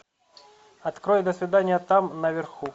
открой до свидания там наверху